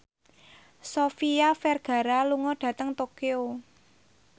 Sofia Vergara lunga dhateng Tokyo